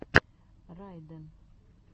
райден